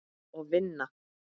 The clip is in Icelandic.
Og vinna.